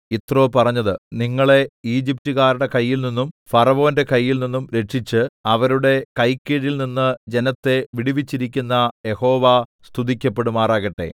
യിത്രോ പറഞ്ഞത് നിങ്ങളെ ഈജിപ്റ്റുകാരുടെ കയ്യിൽനിന്നും ഫറവോന്റെ കയ്യിൽനിന്നും രക്ഷിച്ച് അവരുടെ കൈക്കീഴിൽനിന്ന് ജനത്തെ വിടുവിച്ചിരിക്കുന്ന യഹോവ സ്തുതിക്കപ്പെടുമാറാകട്ടെ